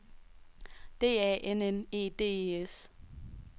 D A N N E D E S